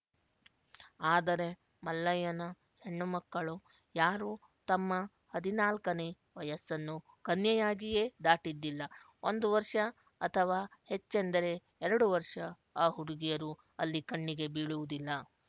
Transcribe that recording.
ಆದರೆ ಮಲ್ಲಯ್ಯನ ಹೆಣ್ಣುಮಕ್ಕಳು ಯಾರೂ ತಮ್ಮ ಹದಿನಾಲ್ಕನೇ ವಯಸ್ಸನ್ನು ಕನ್ಯೆಯಾಗಿಯೇ ದಾಟಿದ್ದಿಲ್ಲ ಒಂದು ವರ್ಷ ಅಥವಾ ಹೆಚ್ಚೆಂದರೆ ಎರಡು ವರ್ಷ ಆ ಹುಡುಗಿಯರು ಅಲ್ಲಿ ಕಣ್ಣಿಗೆ ಬೀಳುವುದಿಲ್ಲ